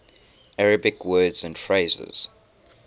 arabic words and phrases